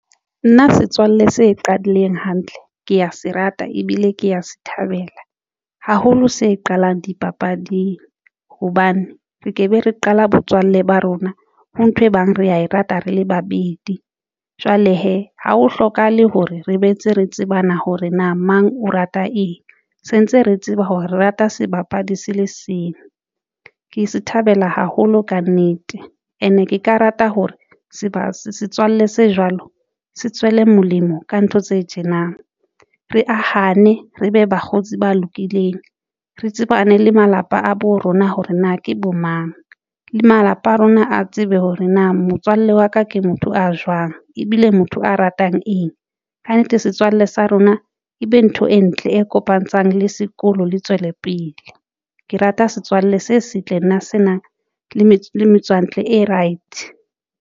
Nna setswalle se qadileng hantle ke ya se rata, ebile ke ya se thabela haholo se qalang dipapading hobane re ke be re qala botswalle ba rona ho nthwe e bang re ya e rata, rele babedi jwale hee ha ho hlokahale hore re boetse re tsebane hore na mang o rata eng. Sentse re tseba hore re rata sebapadi se le seng, ke thabela haholo kannete, and-e ke ka rata hore seba setswalle se jwalo se tswele molemo. Ka ntho tse tjena re ahane re be bakgotsi ba lokileng. Re tsebane le malapa a bo rona hore na ke bo mang le malapa a rona a tsebe hore na motswalle wa ka ke motho a jwang ebile motho a ratang eng kannete setswalle sa rona ebe ntho e ntle e kopantshang le sekolo le tswelepele. Ke rata setswalle se setle nna se nang le metso matswantle a right.